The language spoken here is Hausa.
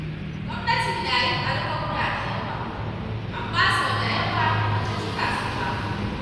Gwamnati na yin alkawura da yawa, amma sau da yawa ba ta cika su ba.